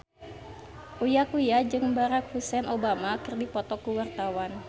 Uya Kuya jeung Barack Hussein Obama keur dipoto ku wartawan